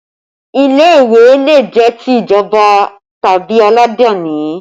Ilé ìwé le jẹ́ ti ìjọba tàbí aladani